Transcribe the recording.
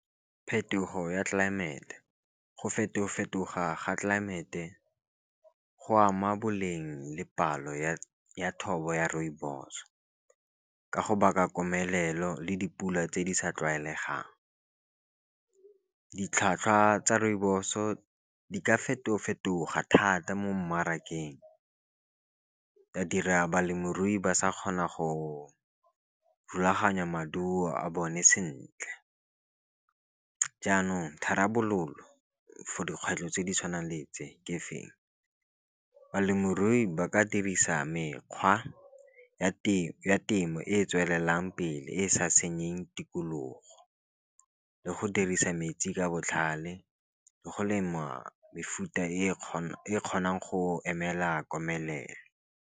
Phetogo ya tlelaemete go feto-fetoga ga tlelaemete go ama boleng le palo ya thobo ya rooibo. Ka go baka komelelo le dipula tse di sa tlwaelegang, ditlhwatlhwa tsa rooibos o di ka feto-fetoga thata mo mmarakeng, di a dira balemirui ba sa kgona go rulaganya maduo a bone sentle. Jaanong tharabololo for dikgwetlho tse di tshwanang le tse ke feng, balemirui ba ka dirisa mekgwa ya temo e e tswelelang pele, e e sa senyeng tikologo. Le go dirisa metsi ka botlhale le go lema mefuta e e kgonang go emela komelelo.